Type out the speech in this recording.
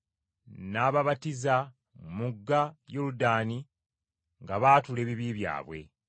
N’ababatiza mu mugga Yoludaani, nga baatula ebibi byabwe.